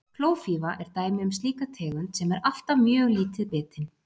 klófífa er dæmi um slíka tegund sem er alltaf mjög lítið bitin